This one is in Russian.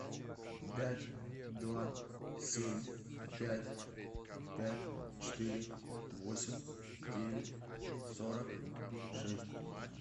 пять два семь пять пять четыре восемь девять сорок шесть